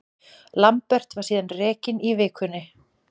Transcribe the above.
Lambert var síðan rekinn í vikunni.